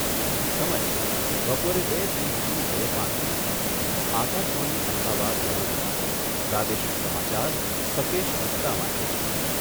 સમય બપોરે બે ત્રીસથી બે પાંત્રીસ. આકાશવાણી અમદાવાદ વડોદરા પ્રાદેશિક સમાચાર સકેશ ગુપ્તા વાંચે છે.